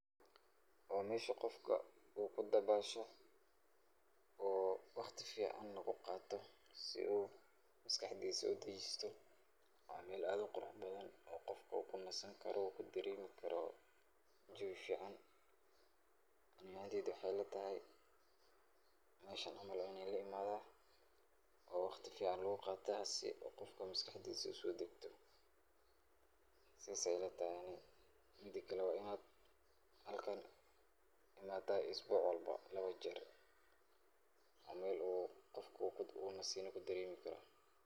Waa meesha qofka uu ku dabaasho oo wakhti fiican ku qaato si uu maskaxdiisa u dejisto. Waa meel aad u qurux badan oo qofka uu ku nasan karo uu ku dareemikaro jawi fiican. Aniga ahaanteyda waxaa ila tahay meeshan camal inay liimadaa oo wakhti fiican lagu qaato si qofka maskaxdiisa usoodegto. Saas ayaay ila tahay aniga. Midakale, waa inaad halkan imataa isbuuc walbo laba jeer. Waa meel oo qofku nasiino ku dareemikaro.